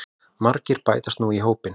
Margir bætast nú í hópinn